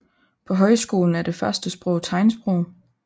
På højskolen er det første sprog tegnsprog